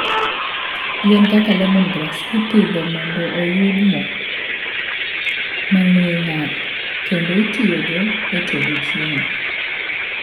Yien kaka lemongrass ipidho mondo oyud mo mang'we ng'ar kendo itiyogo e tedo chiemo.